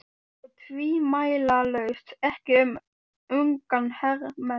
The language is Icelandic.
Og tvímælalaust ekki um unga hermenn